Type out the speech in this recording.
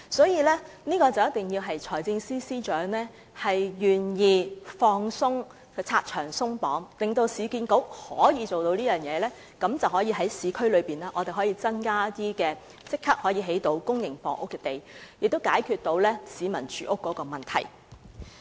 因此，只要財政司司長願意拆牆鬆綁，讓市建局可以採取這種發展模式，市區的公營房屋用地便可以立即增加，從而解決市民的住屋問題。